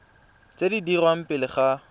tse di dirwang pele ga